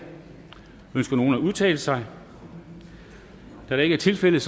ønsker nogen at udtale sig da det ikke er tilfældet